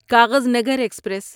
Kaghaznagar express